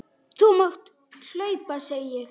Þú mátt hlaupa, segi ég.